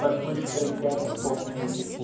под быстрый темп по музыки